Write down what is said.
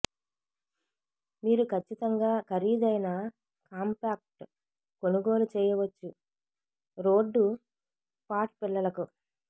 మీరు ఖచ్చితంగా ఖరీదైన కాంపాక్ట్ కొనుగోలు చేయవచ్చు రోడ్డు పాట్ పిల్లలకు